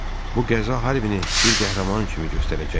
Bu qəza Harvin bir qəhrəman kimi göstərəcəkdi.